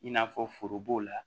I n'a fɔ foro b'o la